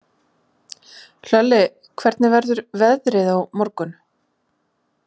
Hlölli, hvernig verður veðrið á morgun?